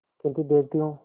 किन्तु देखती हूँ